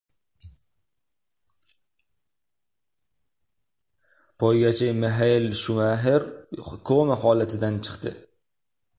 Poygachi Mixael Shumaxer koma holatidan chiqdi.